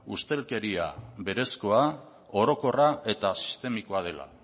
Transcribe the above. ustelkeria berezkoa orokorra eta sistemikoa dela